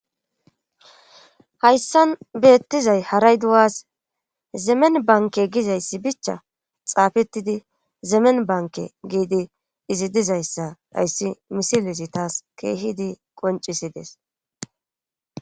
hayssan beettizay haray duwas zemen bankke gizayssi bichcha xaafettidi zemen bankke gidi izi dizayssa hayssi misilezi taassi keehidi qonccissides.